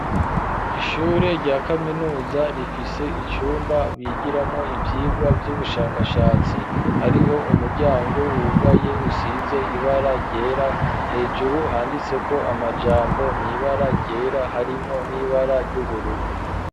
Ishure rya kaminuza rifise icumba bigiramwo ivyirwa vy'ubushakashatsi hariho umuryango wugaye usize ibara ryera hejuru handitse ko amajambo mwibara ryera harimwo n'ibara ry'ubururu.